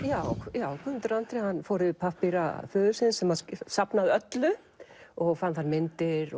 já Guðmundur Andri fór yfir pappíra föður síns sem safnaði öllu og fann þar myndir